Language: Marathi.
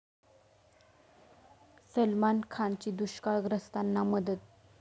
सलमान खानची दुष्काळग्रस्तांना मदत